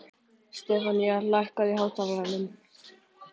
Stefanía, lækkaðu í hátalaranum.